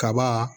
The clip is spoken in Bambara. Kaba